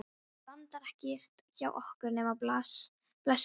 Það vantar ekkert hjá okkur nema blessaða ástina.